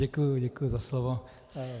Děkuji, děkuji za slovo.